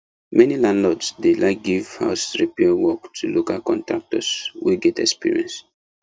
many landlords dey like give house repair work to local contractors wey get experience